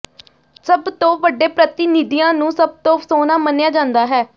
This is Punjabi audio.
ਸਭ ਤੋਂ ਵੱਡੇ ਪ੍ਰਤੀਨਿਧੀਆਂ ਨੂੰ ਸਭ ਤੋਂ ਸੋਹਣਾ ਮੰਨਿਆ ਜਾਂਦਾ ਹੈ